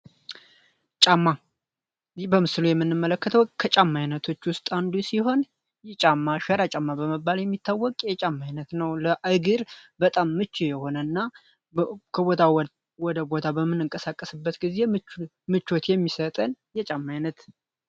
ጫማ የምንመለከተው ከጫማ አይነቶች ውስጥ አንዱ ሲሆን ሸራ ጫማ በመባል የሚታወቅ የማይነት ነው የሆነና እንቀሳቀስበት ጊዜ ምቾት የሚሰጠን አይነት ነው።